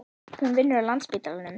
Hún vinnur á Landspítalanum.